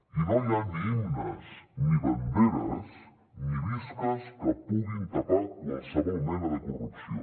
i no hi ha ni himnes ni banderes ni visques que puguin tapar qualsevol mena de corrupció